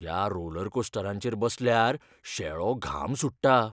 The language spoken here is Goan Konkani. ह्या रोलरकोस्टरांचेर बसल्यार शेळो घाम सुट्टा.